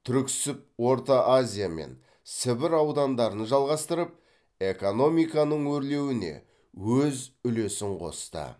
түрксіб орта азия мен сібір аудандарын жалғастырып экономиканың өрлеуіне өз үлесін қосты